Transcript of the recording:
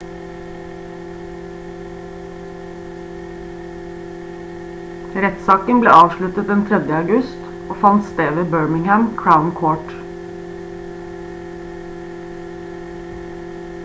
rettssaken ble avsluttet den 3. august og fant sted ved birmingham crown court